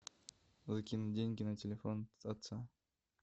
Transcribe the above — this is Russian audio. закинуть деньги на телефон отца